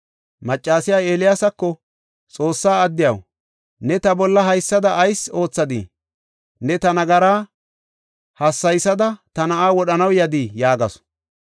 Maccasiya Eeliyaasako, “Xoossa addiyaw, ne ta bolla haysada ayis oothadii? Ne ta nagaraa hassaysada ta na7aa wodhanaw yadii?” yaagasu.